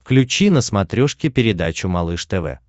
включи на смотрешке передачу малыш тв